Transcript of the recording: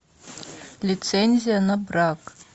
лицензия на брак